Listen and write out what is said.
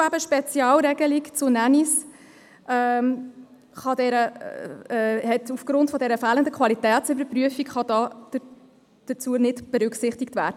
Eine Spezialregelung zu Nannys kann zum Beispiel aufgrund der fehlenden Qualitätsüberprüfung hierzu nicht berücksichtigt werden.